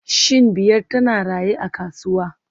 Shin Biyar tana raye a kasuwa